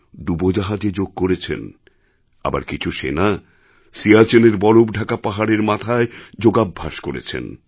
ডুবোজাহাজে যোগ করেছেন আবার কিছু সেনা সিয়াচেনের বরফ ঢাকা পাহাড়ের মাথায় যোগাভ্যাস করেছেন